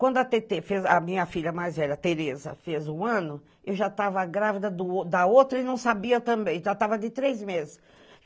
Quando a Tetê fez a minha filha mais velha, Tereza, fez um ano, eu já estava grávida do da outra e não sabia também, já estava de três meses.